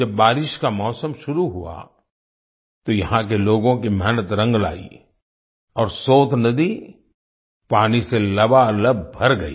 जब बारिश का मौसम शुरू हुआ तो यहां के लोगों की मेहनत रंग लाई और सोत नदी पानी से लबालब भर गई